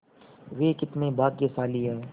वे कितने भाग्यशाली हैं